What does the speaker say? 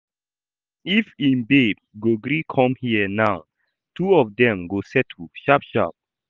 If im babe go gree come here now, two of dem go settle sharp sharp